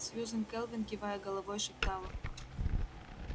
сьюзен кэлвин кивая головой шептала